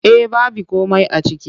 Eh baby komai a ciki.